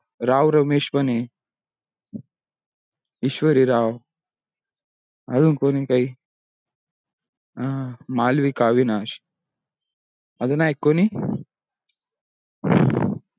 राव रमेश पण हे ईशवरी राव अजून कोणी काही मालविका अविनाश अजूनआहे का कोणी